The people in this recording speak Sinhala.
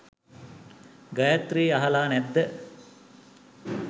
ගයත්‍රි අහලා නැද්ද